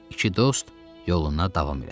İki dost yoluna davam elədi.